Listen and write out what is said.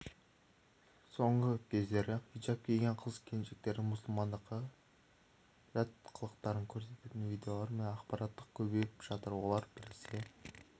соңғы кездері хиджап киген қыз-келіншектердің мұсылмандыққа жат қылықтарын көрсететін видеолар мен ақпараттар көбейіп жатыр олар біресе